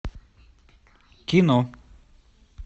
кино